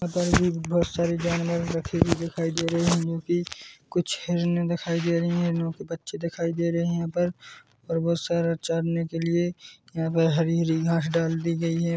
यहां पर यह बहुत सारी जानवर रखी हो दिखाई दे रही है जोकि कुछ हिरणे दिखाई दे रही है जोकि बच्चे दिखाई दे रही है यहां पर और बहुत सारा चरने के लिए यहां पर हरी-हरी घास डाल दी गई है।